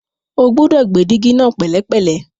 O gbúdọ̀ gbé dígí náà ní pẹ̀lẹ́pẹ̀lẹ́.